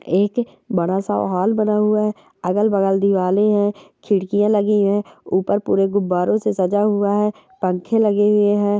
एक बड़ा सा हॉल बना हुआ है। अगल-बगल दिवाले हैं खिड़कियां लगी हैं ऊपर पूरे गुब्बारो से सजा हुआ है पंखे लगे हुए हैं।